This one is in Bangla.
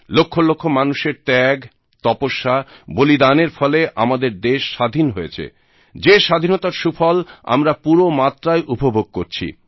লক্ষ লক্ষ মানুষের ত্যাগ তপস্যা বলিদানের ফলে আমাদের দেশ স্বাধীন হয়েছে যে স্বাধীনতার সুফল আমরা পুরো মাত্রায় উপভোগ করছি